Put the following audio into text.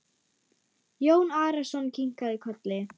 Jón Arason kinkaði kolli.